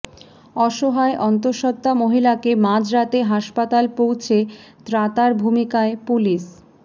অসহায় অন্তঃসত্ত্বা মহিলাকে মাঝ রাতে হাসপাতাল পৌঁছে ত্রাতার ভূমিকায় পুলিশ